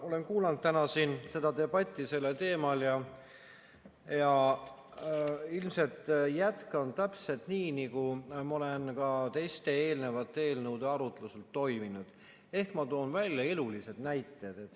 Olen kuulanud täna siin seda debatti sellel teemal ja ilmselt jätkan täpselt nii, nagu ma olen ka teiste, eelnevate eelnõude arutlusel toiminud, ehk ma toon välja elulised näited.